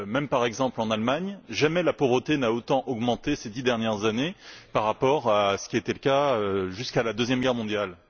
Par exemple, en Allemagne, jamais la pauvreté n'a autant augmenté que ces dix dernières années par rapport à ce qui était le cas jusqu'à la Deuxième Guerre mondiale.